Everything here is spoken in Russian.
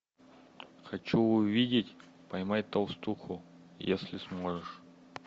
хочу увидеть поймай толстуху если сможешь